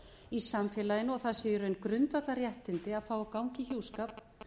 í samfélaginu og það séu í raun grundvallarréttindi að fá að ganga í hjúskap